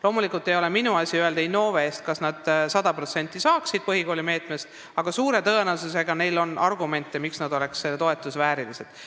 Loomulikult ei ole minu asi öelda Innove eest, kas Rakvere saaks 100% rahastust põhikoolimeetmest, aga suure tõenäosusega on neil argumente, miks nad oleksid selle toetuse väärilised.